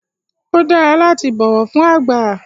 Ó dára láti bọ̀wọ̀ fún àgbà